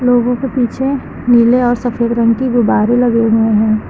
लोगों के पीछे नीले और सफेद रंग की गुब्बारे लगे हुए हैं।